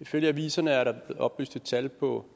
ifølge aviserne er der oplyst et tal på